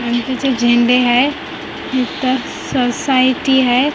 आणि इथं जे झेंडे आहे इथं सोसायटी हाय.